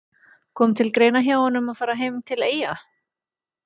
Kom til greina hjá honum að fara heim til Eyja?